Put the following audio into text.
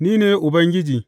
Ni ne Ubangiji.